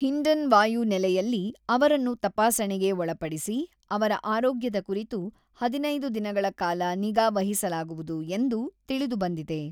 ಹಿಂಡನ್ ವಾಯು ನೆಲೆಯಲ್ಲೇ ಅವರನ್ನು ತಪಾಸಣೆಗೆ ಒಳಪಡಿಸಿ ಅವರ ಆರೋಗ್ಯದ ಕುರಿತು ಹದಿನೈದು ದಿನಗಳ ಕಾಲ ನಿಗಾ ವಹಿಸಲಾಗುವುದು ಎಂದು ತಿಳಿದು ಬಂದಿದೆ.